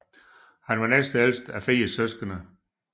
Han var næstældst af fire søskende